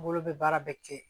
Bolo bɛ baara bɛɛ kɛ